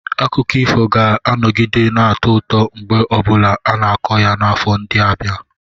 Akụkọ ifo ga-anọgide na-atọ ụtọ mgbe ọ bụla a na-akọ ya n'afọ ndị na-abịa.